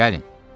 Gəlin.